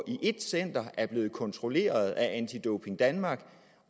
i et center er blevet kontrolleret af anti doping danmark og